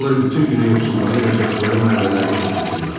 Onlar bütün günü yoxsulların yaşadıqları məhəllələrdə toplaşırlar.